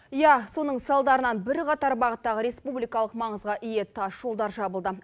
иә соның салдарынан бірқатар бағыттағы республикалық маңызға ие тасжолдар жабылды